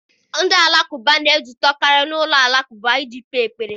Ndị Alakụba na-ezukọkarị n'ụlọ alakụba iji kpee ekpere.